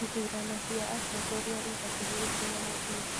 Ithurano cia atongoria ihakuhĩ gũkinya mũthia